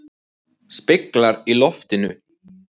Speglar í loftinu.